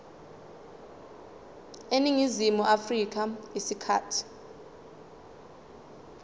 eningizimu afrika isikhathi